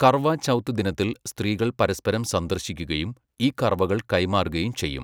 കർവാ ചൗത്ത് ദിനത്തിൽ സ്ത്രീകൾ പരസ്പരം സന്ദർശിക്കുകയും ഈ കർവകൾ കൈമാറുകയും ചെയ്യും.